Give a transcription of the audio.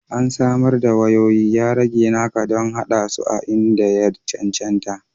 An samar da wayoyi, ya rage naka don haɗa su a inda ya cancanta